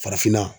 Farafinna